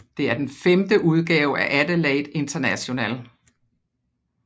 Det er den femte udgave af Adelaide International